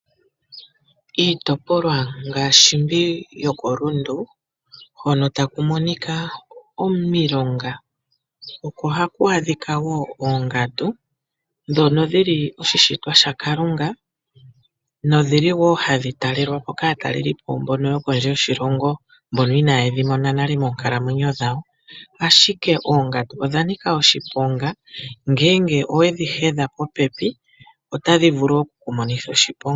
Iitopolwa ngaashi mbi yo koRundu, hono taku monikwa omilonga, oko haku adhika wo oongandu dhono dhili oshishitwa shakalunga, nodhili wo hadhi talelwa po kaataleli po mbono yo kondje yoshilongo , mbono ina ye dhi mona nale moonkalamwenyo dhawo. Ashike oongandu odha nika oshiponga ngeenge we dhi hedha popepi otadhi vulu oku ku monitha oshiponga.